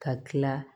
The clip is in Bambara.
Ka tila